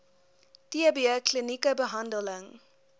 tb klinieke behandel